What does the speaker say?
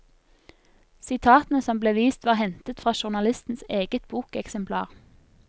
Sitatene som ble vist var hentet fra journalistens eget bokeksemplar.